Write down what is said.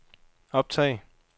optag